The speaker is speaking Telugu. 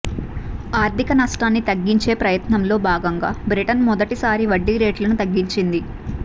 ఆర్థిక నష్టాన్ని తగ్గించే ప్రయత్నంలో భాగంగా బ్రిటన్ మొదటిసారి వడ్డీరేట్లను తగ్గించింది